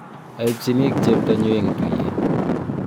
aipchinik cheptanyu eng tuye.